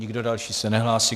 Nikdo další se nehlásí.